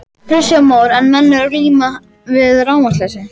Kristján Már: En menn eru enn að glíma við rafmagnsleysi?